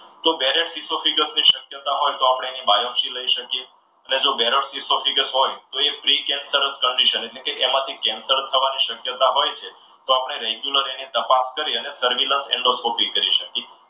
ની શક્યતા હોય તો આપણે એની બાયોપસી લઈ શકીએ. અને જો હોય તો એ free capture condition એટલે કે એમાંથી કેન્સર થવાની શક્યતા હોય છે. તો આપણે રેગ્યુલર અને તપાસ કરી એની circular એન્ડોસ્કોપી કરી શકીએ.